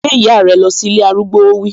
Gbé ìyá rẹ lọ sí ilé arúgbó, ó wí